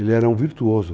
Ele era um virtuoso.